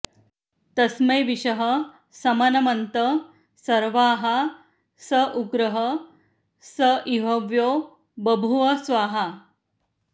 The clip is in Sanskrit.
तस्मै विशः समनमन्त सर्वाः स उग्रः स इ हव्यो बभूव स्वाहा